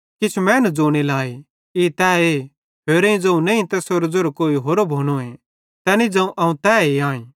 किछ मैनू ज़ोने लाए ई तैए होरेईं ज़ोवं नईं तैसेरो ज़ेरो कोई होरो भोनोए तैनी ज़ोवं अवं तैए आईं